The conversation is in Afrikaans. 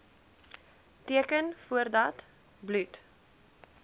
teken voordat bloed